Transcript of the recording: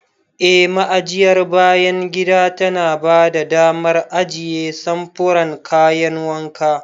Eh, Ma'ajiyar bayan gida tana ba da damar ajiye samfuran kayan wanka.